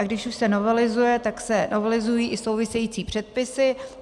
A když už se novelizuje, tak se novelizují i související předpisy.